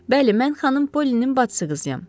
Bəli, mən xanım Pollinin bacısı qızıyam.